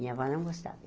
Minha avó não gostava.